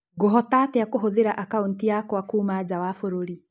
Ngũhota atĩa kũhũthĩra akaũnti yakwa kuuma nja wa bũrũri?